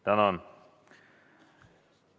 Tänan!